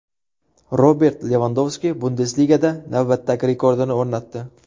Robert Levandovski Bundesligada navbatdagi rekordini o‘rnatdi.